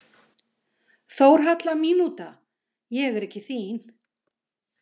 Þórhalla mínúta“ „Ég er ekki þín